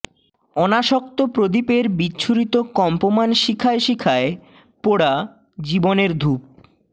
অনাসক্ত প্রদীপের বিচ্ছুরিত কম্পমান শিখায় শিখায় পোড়া জীবনের ধূপ